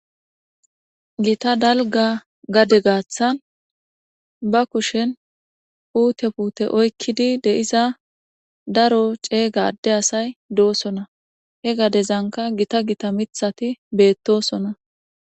Gita dalga gade gaaththan ba kushen uute pute oykkidi de7iza daro ceey gadde asay doosona he gadezanka gita gita mithati beettosona.